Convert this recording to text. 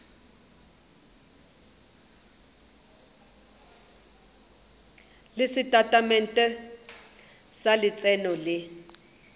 le setatamente sa letseno le